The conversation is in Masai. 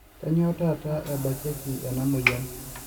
kanyio taata ebakieki ena moyian